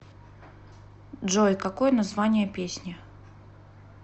джой какое название песни